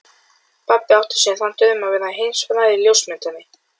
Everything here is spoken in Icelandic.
Stjáni ákvað að smala saman í fótboltalið.